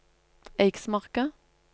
Eiksmarka